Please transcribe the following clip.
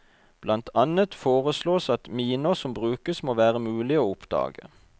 Blant annet foreslås at miner som brukes må være mulige å oppdage.